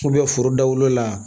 foro dawulo la